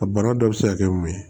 A bana dɔ bɛ se ka kɛ mun ye